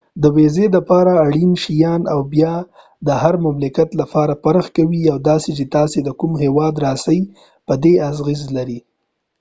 د ويزی لپاره اړین شيان او بیه د هر مملکت لپاره فرق کوي او دا چې تاسی د کوم هیواده راڅۍ په دي اغیزه لري